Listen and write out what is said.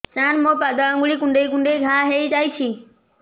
ସାର ମୋ ପାଦ ଆଙ୍ଗୁଳି କୁଣ୍ଡେଇ କୁଣ୍ଡେଇ ଘା ହେଇଯାଇଛି